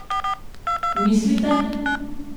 Mislite?